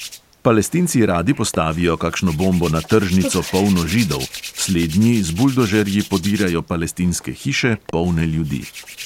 Palestinci radi postavijo kakšno bombo na tržnico, polno židov, slednji z buldožerji podirajo palestinske hiše, polne ljudi.